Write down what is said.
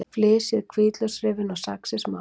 Flysjið hvítlauksrifin og saxið smátt.